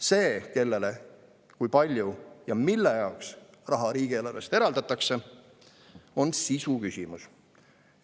See, kellele, kui palju ja mille jaoks raha riigieelarvest antakse, on sisuküsimus.